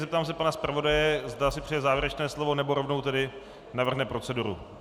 Zeptám se pana zpravodaje, zda si přeje závěrečné slovo, nebo rovnou tedy navrhne proceduru.